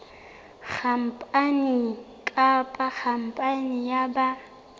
khampani kapa khampani ya ba